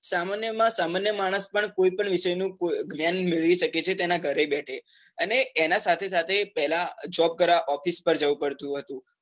સામાન્ય માં સામાન્ય માણસ પણ કોઈ પણ વિષય નુ જ્ઞાન મેળવી શકે છે તેના ઘરે બેઠે અને એના સાથે સાથે પેલા job કરવા office પર જવું પડતું હતું